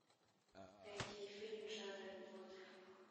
найти фильм жанра мелодрама